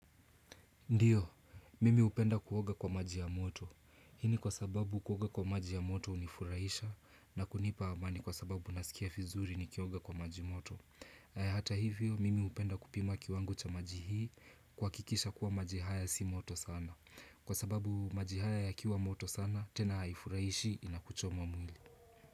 Ndiyo, mimi hupenda kuoga kwa maji ya moto. Hii ni kwa sababu kuoga kwa maji ya moto hunifurahisha na kunipa amani kwa sababu nasikia fizuri ni kioga kwa maji moto. Na hata hivyo, mimi hupenda kupima kiwango cha maji hii kuhakikisha kuwa maji haya si moto sana. Kwa sababu maji haya yakiwa moto sana, tena haifurahishi inakuchoma mwili.